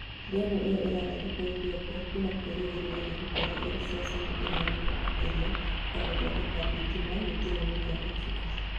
Ndemu iyo ĩrakwo Ethiopia kwĩna kĩrĩgĩro ĩkorwo ĩrĩ ceceni ĩrĩa nene makĩrĩa ya gũthondeka thitima gĩtaroinĩ kia Afrika